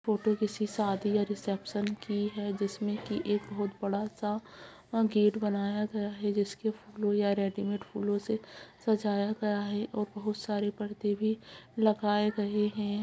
Photo किसी शादी या रिसेप्शन की है जिसमें की एक बहुत बड़ा सा गेट बनाया गया है जिसके ब्लू या रेडीमेड फूलों से सजाया गया है और बहुत सारे पर्दे भी लगाए गए हैं।